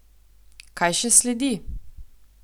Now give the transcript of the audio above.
Kaj še sledi?